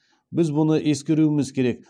біз бұны ескеруіміз керек